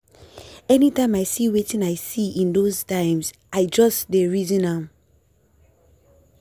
anytime i see wetin i see in those times i just dey reason am.